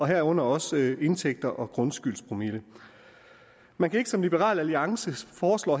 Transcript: herunder også indtægter og grundskyldspromille man kan ikke som liberal alliance foreslår